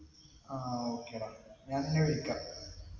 ആഹ് okay ട ഞാൻ നിന്നെ വിളിക്കാം